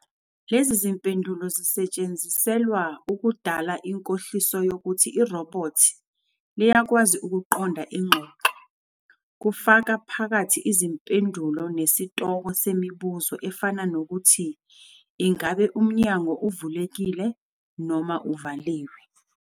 Lezi zimpendulo zisetshenziselwa ukudala inkohliso yokuthi irobhothi liyakwazi ukuqonda ingxoxo, kufaka phakathi izimpendulo zesitoko semibuzo efana nokuthi "Ingabe umnyango uvulekile noma uvaliwe?"